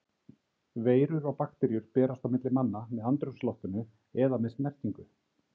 Veirur og bakteríur berast á milli manna með andrúmsloftinu eða með snertingu.